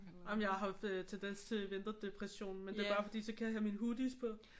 Ej men jeg har haft tendens til vinterdepression men det er bare fordi så kan jeg have mine hoodies på